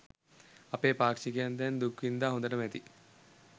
අපේ පාක්ෂිකයින් දැන් දුක්වින්දා හොඳටම ඇති.